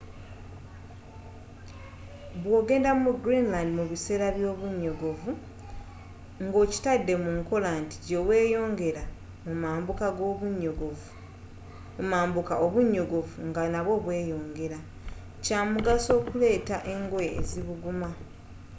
bwogenda mu greenland mu biseera by’obunyogovu nga okitadde mu nkola nti gye weyongera mu mambuka obunyogovu nga nabwo bweyongera kyamugaso okuleeta engoye ezibuguma